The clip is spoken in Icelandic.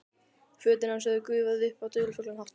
Fötin hans höfðu gufað upp á dularfullan hátt.